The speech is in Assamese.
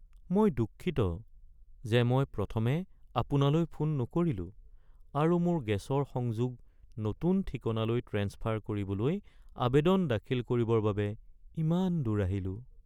মই দুঃখিত যে মই প্ৰথমে আপোনালৈ ফোন নকৰিলো আৰু মোৰ গেছৰ সংযোগ নতুন ঠিকনালৈ ট্ৰেন্সফাৰ কৰিবলৈ আবেদন দাখিল কৰিবৰ বাবে ইমান দূৰ আহিলো। (গ্ৰাহক)